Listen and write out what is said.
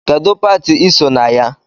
Kedụ pati iso na ya?